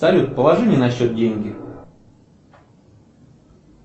салют положи мне на счет деньги